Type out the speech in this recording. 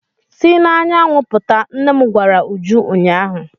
Si n'anyanwụ pụta! nnem gwara Uju ụnyahụ.